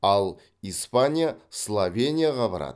ал испания словенияға барады